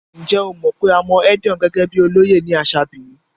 Ǹjẹ́ o mọ̀ pé a mọ Edion gẹ́gẹ́ bíi olóyè ní àṣà Benin?